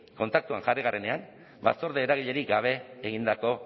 kontaktuan jarri garenean batzorde eragilerik gabe egindako